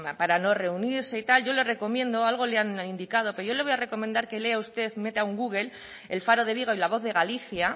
para no reunirse y tal yo le recomiendo algo le han indicado pero yo le voy a recomendar que lea usted meta en google el faro de vigo y la voz de galicia